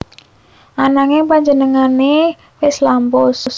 Ananging panjenengané wis lampus